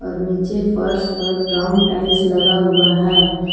और नीचे फर्श पर ब्राउन टाइल्स लगा हुआ है।